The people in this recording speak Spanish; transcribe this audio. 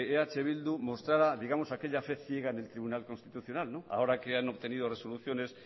eh bildu mostrara digamos aquella fe ciega en el tribunal constitucional ahora que han obtenido resoluciones